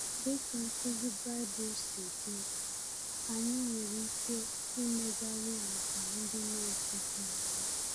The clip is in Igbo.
Dị ka nkuzi Baịbụl si dị, anyị nwere ike imegharị àgwà ndị na-ezighị ezi.